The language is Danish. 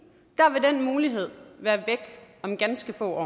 mulighed være væk om ganske få år